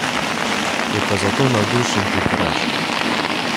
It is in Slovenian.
Je pa zato navdušen tviteraš.